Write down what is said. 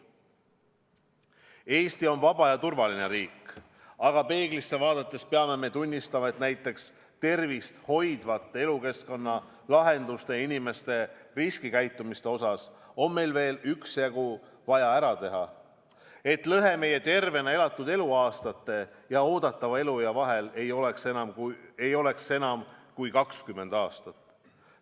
Eesti on vaba ja turvaline riik, aga peeglisse vaadates peame tunnistama, et näiteks tervist hoidvate elukeskkonnalahenduste ja inimeste riskikäitumise osas on meil veel üksjagu vaja ära teha, et lõhe meie tervena elatud eluaastate ja eeldatava eluea vahel ei oleks enam kui 20 aastat.